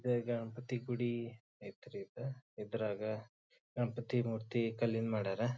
ಇದ ಗಣಪತಿ ಗುಡಿ ಐತ್ ರೀ ಇದ್ರಾಗ ಗಣಪತಿ ಮೂರ್ತಿ ಕಲ್ಲಿಂದ್ ಮಾಡ್ಯಾರ.